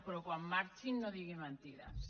però quan marxi no digui mentides